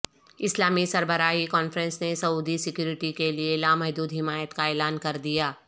اسلامی سربراہی کانفرنس نے سعودی سیکورٹی کے لیے لامحدود حمایت کا اعلان کر دیا